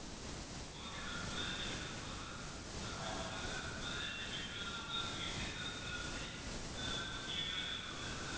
okay sir அப்போ பதினைஞ்சு meter போடவா sir sir அப்படி இருக்க சொல்ல பதினைஞ்சு meter வந்து உங்களுக்கு வீட்டு entrance ல இருந்து உங்க TV வரைக்கும் இருக்கும் அப்படி தானே sir